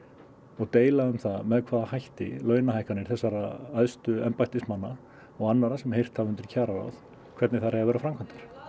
og deila um það með hvaða hætti launahækkanir þessara æstu embættismanna og annarra sem heyrt hafa undir kjararáð hvernig þær eiga að vera framkvæmdar